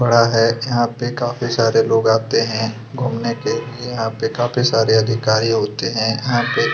बड़ा हैं जहां पे काफ़ी सारे लोग आते हैं घुमने के लिए यहाँ पे काफ़ी सारे अधिकारी होते हैं यहाँ पे--